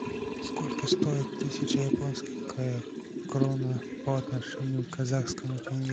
сколько стоит тысяча японских крона по отношению к казахскому тенге